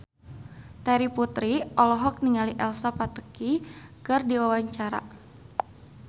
Terry Putri olohok ningali Elsa Pataky keur diwawancara